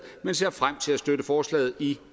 men ser frem til at støtte forslaget i